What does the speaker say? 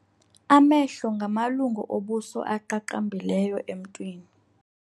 Amehlo ngamalungu obuso aqaqambileyo emntwini.